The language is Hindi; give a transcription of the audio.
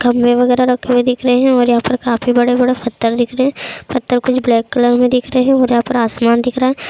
खंबे वगैरह रखे हुए दिख रहे है और यहाँ पर काफ़ी बड़े-बड़े पत्थर दिख रहे हैं पत्थर कुछ ब्लैक कलर मे दिख रहे हैं और यहाँ पर आसमान दिख रहा है।